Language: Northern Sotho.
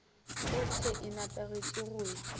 gohle e nepagetše go ya